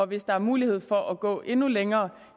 hvis der er mulighed for at gå endnu længere